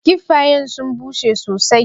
Kiffayen sun bushe sosai.